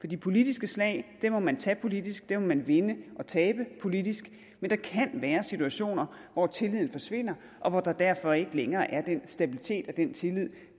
de politiske slag må man tage politisk dem må man vinde eller tabe politisk men der kan være situationer hvor tilliden forsvinder og hvor der derfor ikke længere er den stabilitet og den tillid